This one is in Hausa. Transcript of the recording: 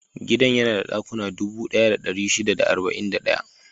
Gidan yana da dakuna dubu ɗaya da ɗari shida da arba'in da ɗaya.